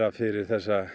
fyrir